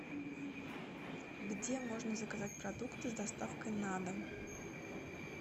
где можно заказать продукты с доставкой на дом